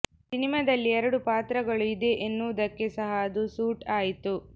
ಸಿನಿಮಾದಲ್ಲಿ ಎರಡು ಪಾತ್ರಗಳು ಇದೇ ಎನ್ನುವುದಕ್ಕೆ ಸಹ ಅದು ಸೂಟ್ ಆಯ್ತು